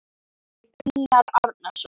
eftir Unnar Árnason